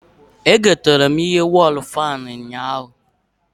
Egotere m ihe wọl fan ụnyaahụ